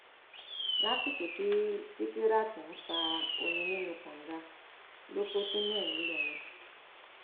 lásìkò tí sìkìràt ń fa omi nínú kànga ló kó sínú ẹ nìlọrin